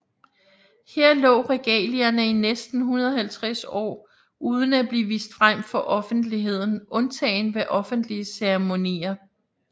Her lå regalierne i næsten 150 år uden at blive vist frem for offentligheden undtaget ved offentlige ceremonier